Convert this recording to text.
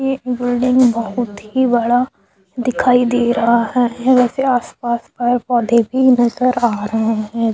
ये बिल्डिंग बहुत ही बड़ा दिखाई दे रहा है वैसे आस-पास पेड़-पौधे भी नज़र रहा है।